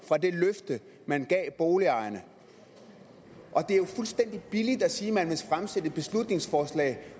fra det løfte man gav boligejerne det er fuldstændig billigt at sige at man vil fremsætte et beslutningsforslag